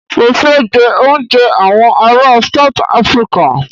Mọ fẹ jẹ òúnjẹ awọn ará South Africa.